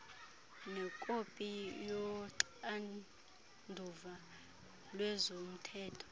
nekopi yoxanduva lwezomthetho